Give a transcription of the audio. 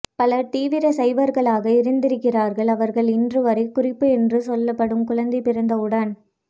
பலர் தீவிர சைவர்களாக இருந்திருக்கிறார்கள் அவர்கள் இன்றுவரை குறிப்பு என்று சொல்லப் படும் குழந்தை பிறந்தவுடன்